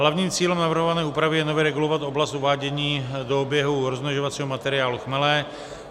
Hlavním cílem navrhované úpravy je nově regulovat oblast uvádění do oběhu rozmnožovacího materiálu chmele.